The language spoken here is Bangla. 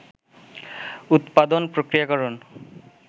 উত্পাদন, প্রক্রিয়াকরণ